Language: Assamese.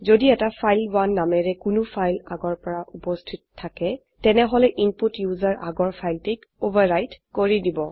যদি এটা ফাইল1 নামেৰে কোনো ফাইল আগৰ পৰা উপস্হিত থাকে তেনেহলে ইনপুট ইউজাৰ আগৰ ফাইলটিক ওভাৰ ৰাইট কৰি দিব